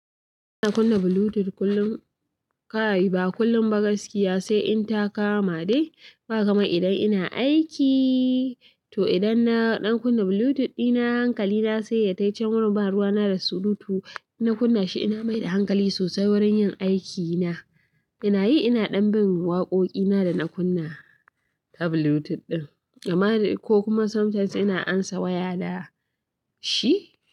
Ina kunna Bluetooth kullum, kai ba kullum ba gaskiya, sai in ta kama dai. Ba kamar idan ina aiki, to idan na ɗan kunna Bluetooth ina hankali na sai ya tai can wurin ban ruwa na da surutu. Ina kunna shi ina mai da hankali sosai wurin yin aikina. Ina yi ina ɗan bin waƙoƙina da na kunna ta Bluetooth ɗin. Ama dai ko kuma sometimes ina amsa waya da shi.